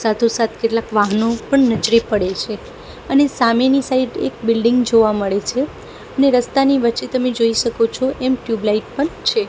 સાથો સાથ કેટલાક વાહનો પણ નજરે પડે છે અને સામેની સાઈડ એક બિલ્ડિંગ જોવા મડે છે ને રસ્તાની વચ્ચે તમે જોઈ શકો છો એમ ટ્યુબલાઇટ પણ છે.